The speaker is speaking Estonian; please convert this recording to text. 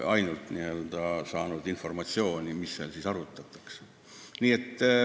Me oleme ainult saanud informatsiooni, mida seal arutatakse.